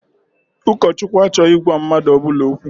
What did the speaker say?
Ụkọchukwu achọghị ịgwa mmadụ ọbụla okwu.